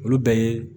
Olu bɛɛ ye